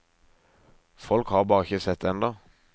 Folk har bare ikke sett det ennå.